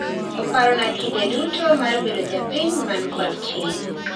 Oparona kinde tudo mar bedo japiny man kod ting'